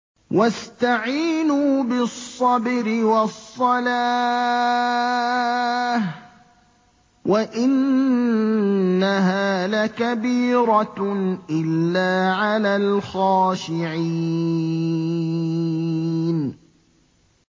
وَاسْتَعِينُوا بِالصَّبْرِ وَالصَّلَاةِ ۚ وَإِنَّهَا لَكَبِيرَةٌ إِلَّا عَلَى الْخَاشِعِينَ